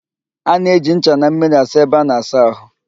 A na-eji ncha na mmiri asa ebe a na-asa ahụ